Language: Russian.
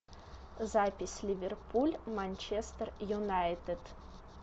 запись ливерпуль манчестер юнайтед